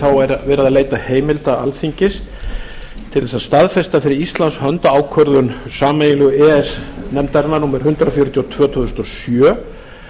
þá er verið að leita heimilda alþingis til þess að staðfesta fyrir íslands hönd ákvörðun sameiginlegu e e s nefndarinnar númer hundrað fjörutíu og tvö tvö þúsund og sjö